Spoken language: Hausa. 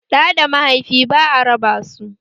Da da mahaifi ba'a raba su